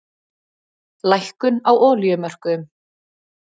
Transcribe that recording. Lækkun á olíumörkuðum